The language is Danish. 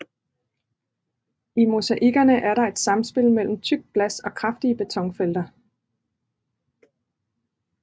I mosaikkerne er der et samspil mellem tykt glas og kraftige betonfelter